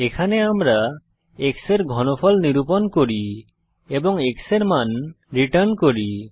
এখানে আমরা x এর ঘনফল নিরূপণ করি এবং x এর মান রিটার্ন করি